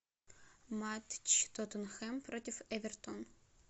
матч тоттенхэм против эвертон